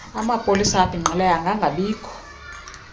amapolisa abhinqileyo angangabikho